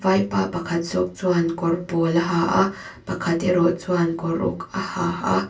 vaipa pakhat zawk chuan kawr pawl a ha a pakhat erawh chuan kawr uk a ha a--